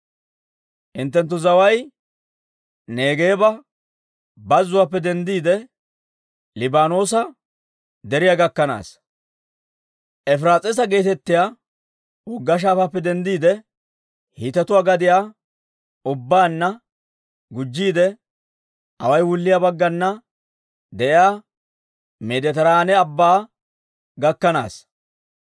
Hinttenttu zaway Neegeeba Bazzuwaappe denddiide, Liibaanoosa Deriyaa gakkanaassa; Efiraas'iisa geetettiyaa wogga shaafaappe denddiide, Hiitetuwaa gadiyaa ubbaanna gujjiide, away wulliyaa baggana de'iyaa Meeditiraane Abbaa gakkanaasa.